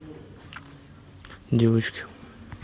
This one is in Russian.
девочки